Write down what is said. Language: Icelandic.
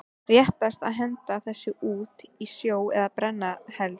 Réttast að henda þessu út í sjó eða brenna helst.